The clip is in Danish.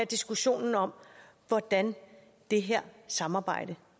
diskussionen om hvordan det her samarbejde